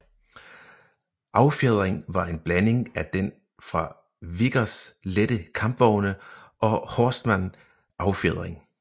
Affjedringen var en blanding af den fra Vickers lette kampvogne og Horstmann affjedring